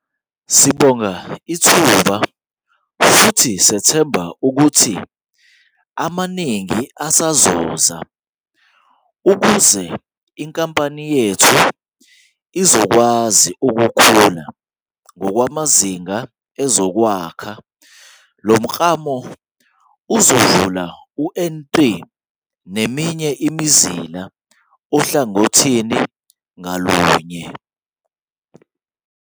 "Sibonga ithuba futhi sethemba ukuthi amaningi asazoza ukuze inkampani yethu izokwazi ukukhula ngokwamazinga ezokwakha," engeza. Lo mklamo uzovula u-N3 ngeminye imizila ohlangothini ngalunye.